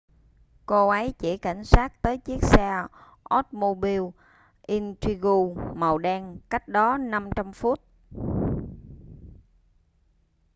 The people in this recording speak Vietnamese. cô ấy chỉ cảnh sát tới chiếc xe oldsmobile intrigue màu đen cách đó 500 foot